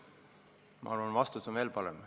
Ma arvan, et vastus on veel parem.